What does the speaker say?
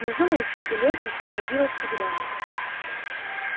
внизу на изгибе лестницы появилась тигрёнок